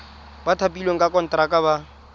ba thapilweng ka konteraka ba